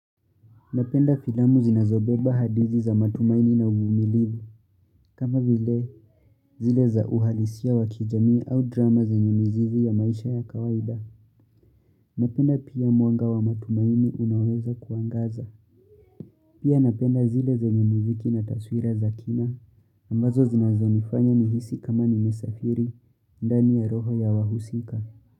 Napenda filamu zinazobeba hadithi za matumaini na uvumilivu, kama vile zile za uhalisia wa kijamii au drama zenye mizizi ya maisha ya kawaida. Napenda pia mwanga wa matumaini unaoweza kuangaza. Pia napenda zile zenye muziki na taswira za kina, ambazo zinazonifanya nihisi kama nimesafiri, ndani ya roho ya wahusika.